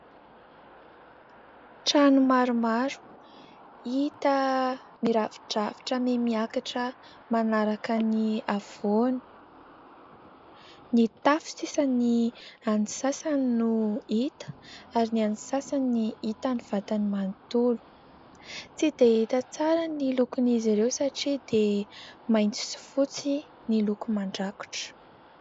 Trano maromaro hita mirafidrafitra mihamiakatra manaraka ny havoana, ny tafo sisa ny an'ny sasany no hita ary ny an'ny sasany ny hita ny vatany manontolo ; tsy dia hita tsara ny lokon'izy ireo satria dia maitso sy fotsy ny loko mandrakotra.